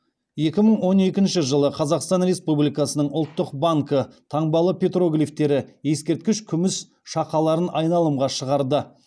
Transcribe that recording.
екі мың он екінші жылы қазақстан республикасының ұлттық банкі таңбалы петроглифтері ескерткіш күміс шақаларын айналымға шығарды